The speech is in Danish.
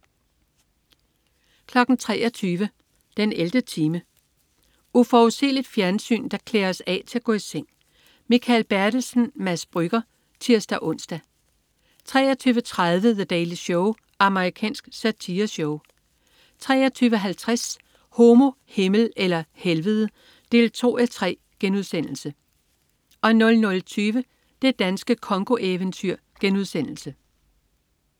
23.00 den 11. time. Uforudsigeligt fjernsyn, der klæder os af til at gå i seng. Mikael Bertelsen/Mads Brügger (tirs-ons) 23.30 The Daily Show. Amerikansk satireshow 23.50 Homo, Himmel eller Helvede 2:3* 00.20 Det danske Congo-eventyr*